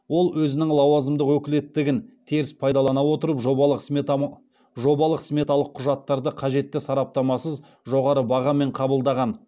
ол өзінің лауазымдық өкілеттігін теріс пайдалана отырып жобалық сметалық құжаттарды қажетті сараптамасыз жоғары бағамен қабылдаған